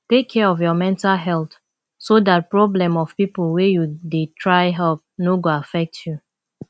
take care of your mental health so dat problem of pipo wey you dey try help no go affect you